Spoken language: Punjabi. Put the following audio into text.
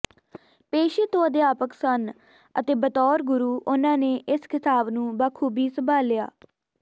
ਪੇਸ਼ੇ ਤੋਂ ਅਧਿਆਪਕ ਸਨ ਅਤੇ ਬਤੌਰ ਗੁਰੂ ਉਨ੍ਹਾਂ ਨੇ ਇਸ ਖ਼ਿਤਾਬ ਨੂੰ ਬਾਖੂਬੀ ਸੰਭਾਲਿਆ ਅਤੇ